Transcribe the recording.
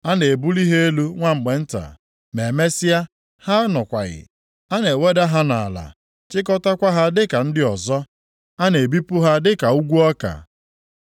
A na-ebuli ha elu nwa mgbe nta, ma e mesịa, ha anọkwaghị, a na-eweda ha nʼala chikọtakwa ha dịka ndị ọzọ, a na-ebipụ ha dịka ukwu ọka.